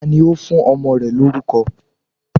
Tani ó fún ọmọ rẹ lórúko